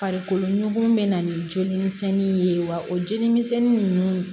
Farikolo ɲɔgɔn bɛ na ni joli misɛnninw ye wa o jeli misɛnni ninnu